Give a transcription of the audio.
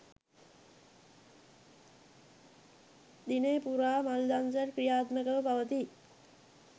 දිනය පුරා මල් දන්සැල් ක්‍රියාත්මකව පවතී